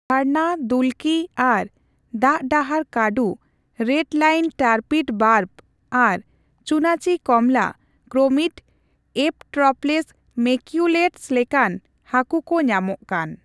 ᱡᱷᱟᱨᱱᱟ, ᱫᱩᱞᱠᱤ ᱟᱨ ᱫᱟᱜ ᱰᱟᱦᱟᱨ ᱠᱟᱰᱩ, ᱨᱮᱰ ᱞᱟᱭᱤᱱ ᱴᱟᱨᱯᱤᱰᱚ ᱵᱟᱨᱵ ᱟᱨ ᱪᱩᱛᱟᱪᱤ ᱠᱚᱢᱞᱟ ᱠᱨᱚᱢᱤᱰᱼ ᱮᱴᱨᱚᱯᱞᱥ ᱢᱮᱠᱭᱩᱞᱮᱴᱚᱥ ᱞᱮᱠᱟᱱ ᱦᱟᱹᱠᱩ ᱠᱚ ᱧᱟᱢᱚᱜ ᱠᱟᱱ ᱾